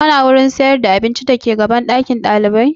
Kana wajen sayar da abinci dake gaban ɗakin ɗalibai?